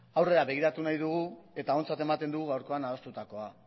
aurrera begiratu nahi dugu eta ontzat ematen dugu gaurkoan adostutakoa